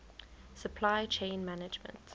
supply chain management